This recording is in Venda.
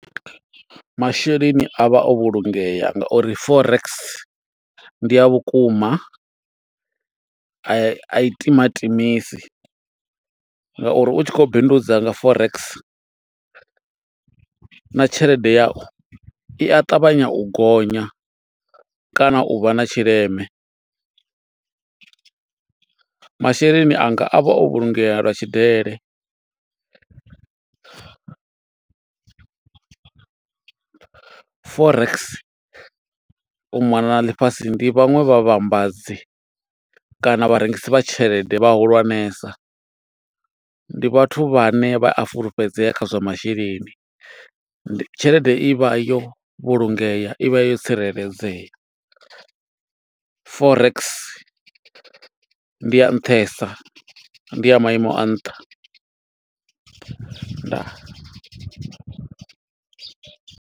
Masheleni avha o vhulungeya nga uri Forex ndi a vhukuma, a i timatimisi nga uri u tshi khou bindudza nga forex na tshelede yau i a ṱavhanya u gonya, kana u vha na tshileme. Masheleni anga a vha o vhulungea lwa tshidele. Forex u mona na ḽifhasi ndi vhaṅwe vha vhavhambadzi, kana vharengisi vha tshelede vha hulwanesa. Ndi vhathu vhane vha a fulufhedzea kha zwa masheleni. Ndi tshelede i vha yo vhulungeam i vha yo tsireledzea. Forex ndi ya nṱhesa, ndi ya maimo a nṱha. Ndaa.